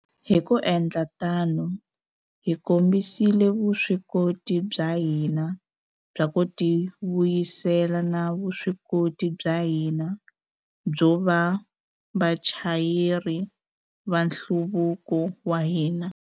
Hi ku endla tano, hi kombisile vuswikoti bya hina bya ku tivuyisela na vuswikoti bya hina byo va vachayeri va nhluvuko wa hina.